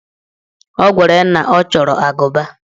O gwara ya na ọ chọrọ agụba.